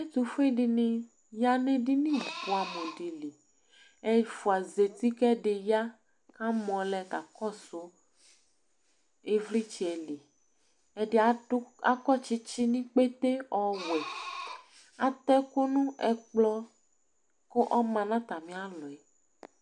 ũviɗiɲiyɑ ṅɛɗiɲi bũɑmũɗi ɛfụɑzɛti kẽɗiyɑ kɑmõlɛ kɑkõsụ ivlitsɛli ɛɗiɑkọ tsitsiɲikpɛté õwụẽ ɑtẽkụ ɲụ ɛkplo ɲɑtɑmiɑlɔ